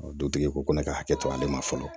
Dutigi ko ko ne ka hakɛ to ale ma fɔlɔ